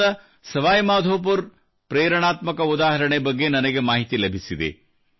ರಾಜಸ್ಥಾನದ ಸವಾಯಿ ಮಾಧವಪುರದ ಪ್ರೇರಣಾತ್ಮಕ ಉದಾಹರಣೆ ಬಗ್ಗೆ ನನಗೆ ಮಾಹಿತಿ ಲಭಿಸಿದೆ